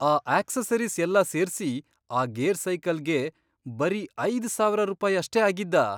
ಆ ಅಕ್ಸೆಸರೀಸ್ ಎಲ್ಲಾ ಸೇರ್ಸಿ ಆ ಗೇರ್ ಸೈಕಲ್ಗೆ ಬರೀ ಐದ್ ಸಾವರ ರೂಪಾಯ್ ಅಷ್ಟೇ ಆಗಿದ್ದಾ?